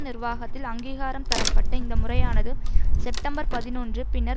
நிர்வாகத்தில் அங்கீகாரம் தரப்பட்ட இந்த முறையானது செப்டம்பர் பதினொன்று பின்னர்